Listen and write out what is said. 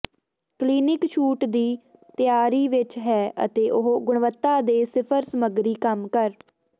clinic ਛੂਟ ਦੀ ਤਿਆਰੀ ਵਿਚ ਹੈ ਅਤੇ ਉੱਚ ਗੁਣਵੱਤਾ ਦੇ ਸਿਰਫ ਸਮੱਗਰੀ ਕੰਮ ਕਰ